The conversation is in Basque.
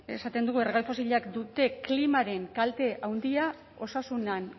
esaten dugu erregai fosilek dute klimaren kalte handia osasunean